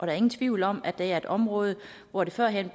er ingen tvivl om at det er et område hvor der førhen